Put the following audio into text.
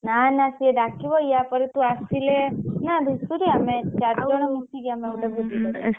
ନା ନା ସେ ଡାକିବ ୟାପରେ ତୁ ଆସିଲେ ନା ଧୁସୁରୀ